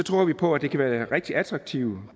tror vi på at det kan være rigtig attraktivt